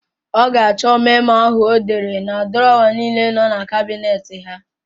Ọ ga-achọ memo áhụ̀ ọ dere na drọwa niile nọ na kabinet ha.